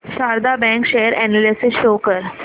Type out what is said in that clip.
Sharda bank share analysis show कर